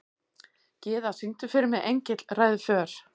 Gyða, syngdu fyrir mig „Engill ræður för“.